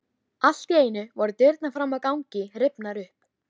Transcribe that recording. Allt í einu voru dyrnar fram á ganginn rifnar upp.